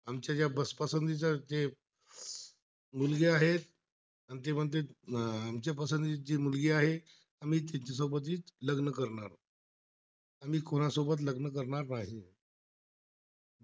आणि ते म्आहणतात मच्या पसंतीची मुलगी आहे, आम्ही तिच्यासोबत लग्न करणार, आम्ही तिच्यासोबत लग्न करणार नाही